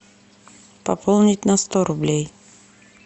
пополнить на сто рублей